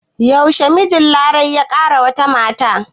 Yaushe mijin Larai ya ƙara wata mata?